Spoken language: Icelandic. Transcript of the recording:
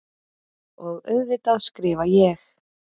Og auðvitað skrifa ég.